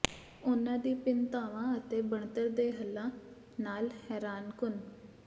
ਉਨ੍ਹਾਂ ਦੀ ਭਿੰਨਤਾਵਾਂ ਅਤੇ ਬਣਤਰ ਦੇ ਹੱਲਾਂ ਨਾਲ ਹੈਰਾਨਕੁਨ